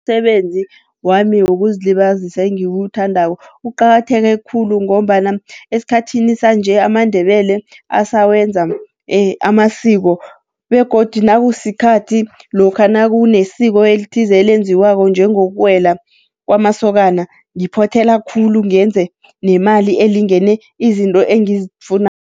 Umsebenzi wami wokuzilibazisa engiwuthandako uqakatheke khulu ngombana esikhathini sanje amaNdebele asawenza amasiko. Begodu nakusikhathi lokha nakunesiko elithize elenziwako njengokuwela kwamasokana ngiphothela khulu, ngenze nemali elingene izinto